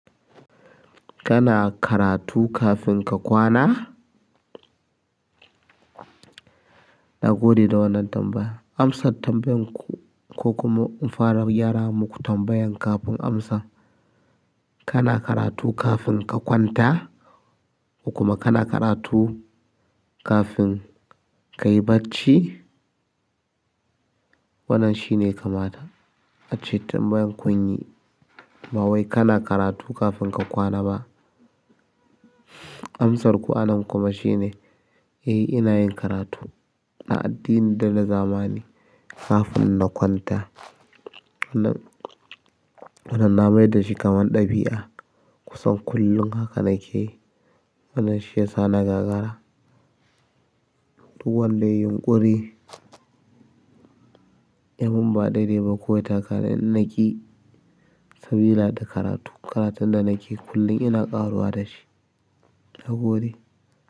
Kana karatu kafin ka kwana? Na gode da wannan tambaya. Amsan tambayan ku ko kuma in fara gyara muku tambayan kafin amsa. Kana karatu kafin ka kwanta? Ko kuma kana karatu kafin ka yi bacci? Wannan shine kamata. Ace tambayan kunyi. Ba wai kana karatu kafin ka kwana ba. Amsar ku anan kuma shine, eh ina yin karatu na addini da na zamani kafin na kwanta. Wannan na mai dashi kamar ɗabi'a. Kusan kullum haka nake. Wannan shi ya sa na gagara. Duk wanda ya yi yunƙuri, yamin ba daidai ba ko ya taka dan naki sabila da karatu. Karatun da nake kullum ina ƙaruwa da shi. Na gode.